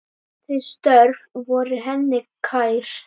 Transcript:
Þau störf voru henni kær.